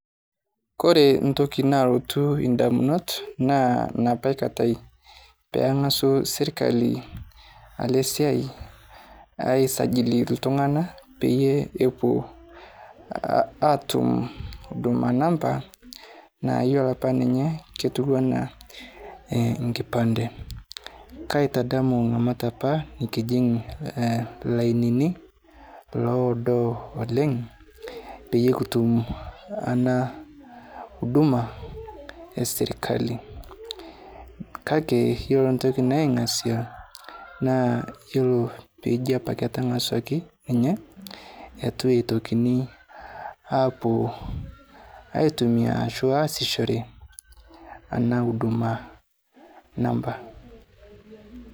Kore ntoki nalotu indamunot naa napa katai peang'asu sirkali ale siai aisajili ltung'ana peye epuo aatum Huduma NAMBA naa yuolo apa ninye ketuwana eh nkipande. Kaitadmu ng'amat apa nikijing' lainini loodo oleng' peye kutum ana huduma esirkali, kake yuolo ntoki naing'asia naa yuolo peeji apake etang'asuaki ninye etu eitokini apuo aitumia ashu aasishere ana Huduma NAMBA.